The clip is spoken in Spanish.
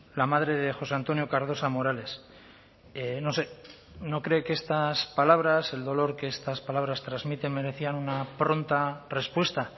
la madre de josé antonio cardosa morales no sé no cree que estas palabras el dolor que estas palabras transmiten merecían una pronta respuesta